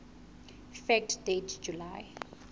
fact date july